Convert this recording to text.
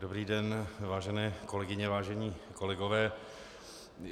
Dobrý den, vážené kolegyně, vážení kolegové.